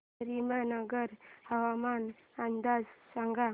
करीमनगर हवामान अंदाज सांग